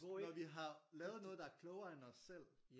Når vi har lavet noget der er klogere end os selv